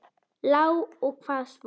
Já og hvað svo!